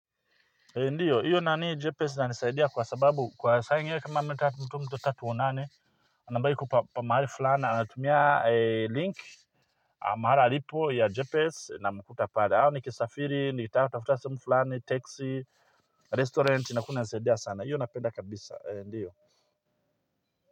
Ndiyo, hiyo nanii GPS inanisaidia kwa sababu kwa saa ingine kama mtu mtu mtu mtu tatuonane Anabai kupa mahali fulani, anatumia link mahala alipo ya Jepes inamkuta pale. Hau nikisafiri, nikitaka kutafuta sehemu fulani, teksi, restaurant na kunanisaidia sana. Hiyo napenda kabisa, ndiyo.